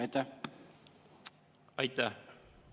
Aitäh!